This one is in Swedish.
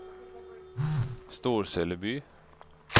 Storseleby